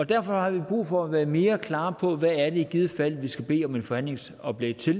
derfor har vi brug for at være mere klare på hvad det i givet fald er vi skal bede om et forhandlingsoplæg til